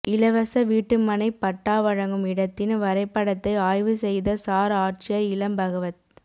இலவச வீட்டுமனைபட்டா வழங்கும் இடத்தின் வரைபடத்தை ஆய்வு செய்த சாா் ஆட்சியா் இளம்பகவத்